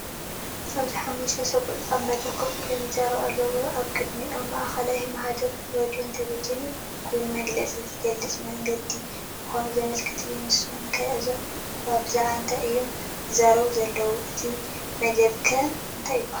ኣብዚ ሓሙሽተ ሰብኡት ኣብ መድረኽ ኮፍ ኢሎም ይዛረቡ ኣለዉ። ኣብ ቅድሚኦም ማእከላይ ማህደር ሬድዮን ቴሌቪዥንን ኮይኑ፡ መግለጺ ዝገልጸሉ መንገዲ ምዃኑ ዘመልክት እዩ። ንስኩም ከ እዞም ሰባት ብዛዕባ እንታይ እዮም ዝዛረቡ ዘለዉ? እቲ መደብ ከ እንታይ ይበሃል?